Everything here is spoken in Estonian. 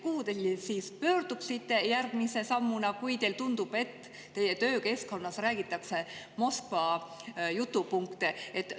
Kuhu te siis pöörduksite, kui teile tundub, et teie töökeskkonnas räägitakse Moskva jutupunkte?